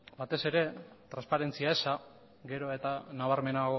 batez ere transparentzia eza gero eta nabarmenagoa